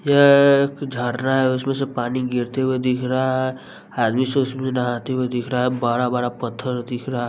यह झड़ना है उसमें से पानी गिरते हुए दिख रहा है आदमी सब उसमें नहाते हुए दिख रहा है बड़ा बड़ा पत्थर दिख रहा--